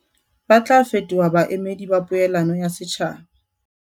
Ba tla fetoha baemedi ba poelano ya setjhaba.